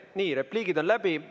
Nii, repliigid on läbi.